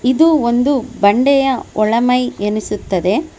ಇದು ಒಂದು ಬಂಡೆಯ ಒಳ ಮೈ ಎನಿಸುತ್ತದೆ.